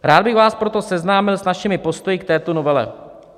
Rád bych vás proto seznámil s našimi postoji k této novele.